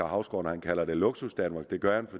hausgaard kalder det luksusdanmark det gør han